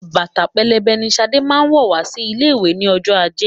Bàtà pẹlẹbẹ ni Ṣadé máa wọ̀ wá sí ilé ìwé ní ọjọ́ ajé.